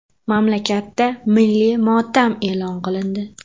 Mamlakatda milliy motam e’lon qilindi .